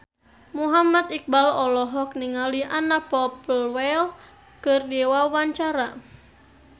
Muhammad Iqbal olohok ningali Anna Popplewell keur diwawancara